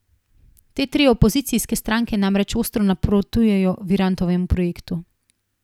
Te tri opozicijske stranke namreč ostro nasprotujejo Virantovemu projektu.